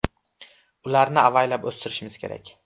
Ularni avaylab o‘stirishimiz kerak.